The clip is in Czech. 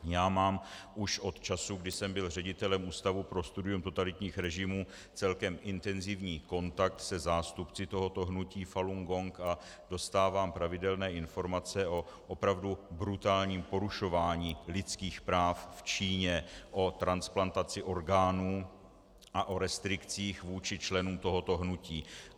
Já mám už od času, kdy jsem byl ředitelem Ústavu pro studium totalitních režimů, celkem intenzivní kontakt se zástupci tohoto hnutí Falun Gong a dostávám pravidelné informace o opravdu brutálním porušování lidských práv v Číně, o transplantaci orgánů a o restrikcích vůči členům tohoto hnutí.